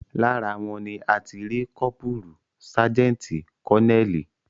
Lára wọn ni a ti rí kọ́pùrù, sájẹ́ǹtì, kọ́neẹ́ẹ̀lì